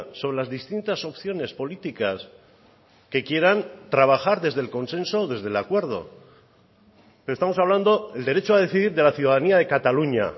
sobre las distintas opciones políticas que quieran trabajar desde el consenso o desde el acuerdo estamos hablando el derecho a decidir de la ciudadanía de cataluña